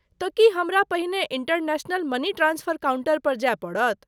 तँ, की हमरा पहिने इंटरनेशनल मनी ट्रांस्फर काउंटर पर जाय पड़त।